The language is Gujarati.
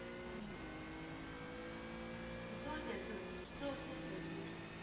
હમ શું છે શું છે